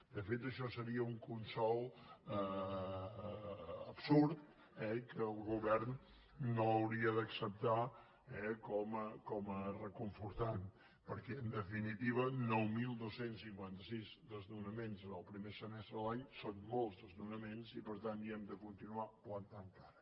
de fet això seria un consol absurd eh que el govern no hauria d’acceptar com a reconfortant perquè en definitiva nou mil dos cents i cinquanta sis desnonaments en el primer semestre de l’any són molts desnonaments i per tant hi hem de continuar plantant cara